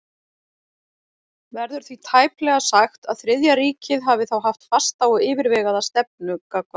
Verður því tæplega sagt, að Þriðja ríkið hafi þá haft fasta og yfirvegaða stefnu gagnvart